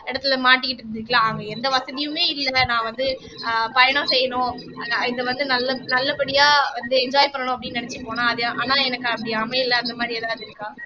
இடத்துல மாட்டிக்கிட்டு இருந்திருக்கலாம் அவங்க எந்த வசதியுமே இல்ல நான் வந்து ஆஹ் பயணம் செய்யணும் இத வந்து நல்ல நல்லபடியா வந்து enjoy பண்ணணும் அப்படின்னு நினைச்சு போனான் அது ஆனா எனக்கு அப்படி அமையல அந்த மாறி எதுனா இருக்கா